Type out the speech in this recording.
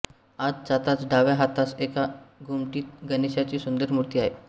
आत जाताच डाव्या हातास एका घुमटीत गणेशाची सुंदर मूर्ती आहे